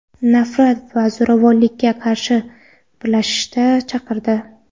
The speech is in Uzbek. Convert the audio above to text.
nafrat va zo‘ravonlikka qarshi birlashishga chaqirdi.